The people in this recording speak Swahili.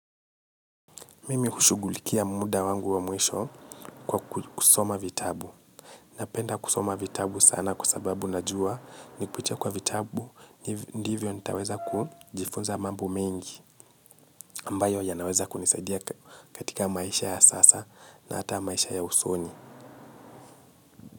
Mimi hushugulikia muda wangu wa mwisho kwa kusoma vitabu. Napenda kusoma vitabu sana kusababu najua ni kupitia kwa vitabu, ndivyo nitaweza kujifunza mambo mengi. Ambayo yanaweza kunisadia katika maisha ya sasa na hata maisha ya usoni.